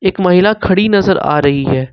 एक महिला खड़ी नजर आ रही है।